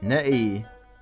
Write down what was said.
Nə eyi?